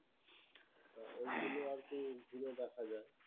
এইগুলো আর কি ঘুরে দেখা যাই